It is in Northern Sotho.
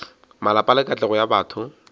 malapa le katlego ya batho